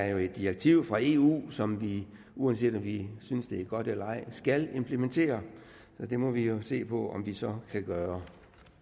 jo er et direktiv fra eu som vi uanset om vi synes det er godt eller ej skal implementere og det må vi jo se på om vi så kan gøre